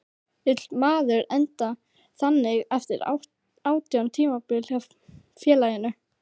Vill maður enda þannig eftir átján tímabil hjá félaginu?